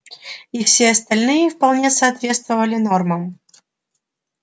и все остальные вполне соответствовали нормам